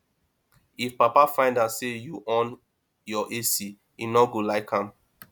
if papa find out say you on your ac he no go like am